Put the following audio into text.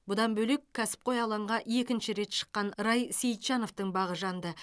бұдан бөлек кәсіпқой алаңға екінші рет шыққан рай сейітжановтың бағы жанды